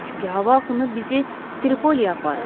Çünki hava axını bizi Tripoliyə aparır.